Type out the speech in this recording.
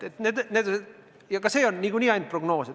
Ja seegi on niikuinii ainult prognoos.